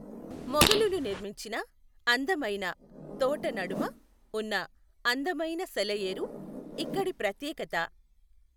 మొగలులు నిర్మించిన అందమైన తోట నడుమ ఉన్న అందమైన సెలఏరు ఇక్కడి ప్రత్యేకత.